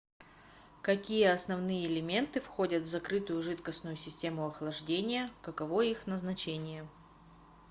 какие основные элементы входят в закрытую жидкостную систему охлаждения каково их назначение